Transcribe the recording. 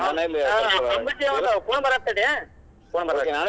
ಒಂದ್ phone ಬರಾತೇತಿ ತಡಿಯಾ, phone ಬರಾತೇತಿ.